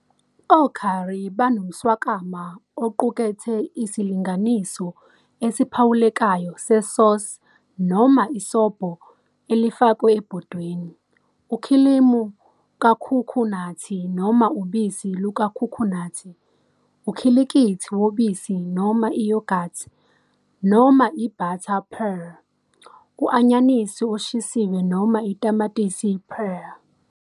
O-curry banomswakama oqukethe isilinganiso esiphawulekayo se-sauce noma isobho elifakwe ebhodweni, ukhilimu kakhukhunathi noma ubisi lukakhukhunathi, ukhilikithi wobisi noma i-yogurt, noma i-butter purée, u-anyanisi oshisiwe, noma i-"tamatisi purée".